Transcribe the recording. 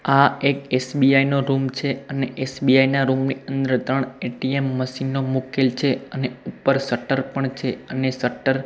આ એક એસ_બી_આઈ નો રુમ છે અને એસ_બી_આઈ ના રુમ ની અંદ્ર ત્રણ એ_ટી_એમ મશીનો મૂકેલી છે અને ઉપર શટર પણ છે અને શટર --